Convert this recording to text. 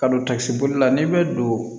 Ka don takisibolila n'i bɛ don